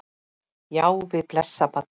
Já, við blessað barnið!